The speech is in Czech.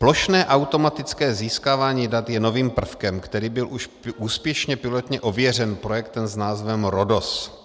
Plošné automatické získávání dat je novým prvkem, který byl už úspěšně pilotně ověřen projektem s názvem Rhodos.